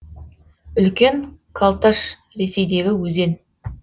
үлкен колташ ресейдегі өзен